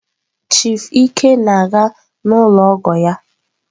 Chief ike na-aga n'ụlọ ọgọ ya.